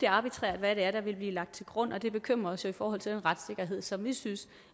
arbitrært hvad det er der vil blive lagt til grund og det bekymrer os jo i forhold til den retssikkerhed som vi synes